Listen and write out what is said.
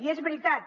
i és veritat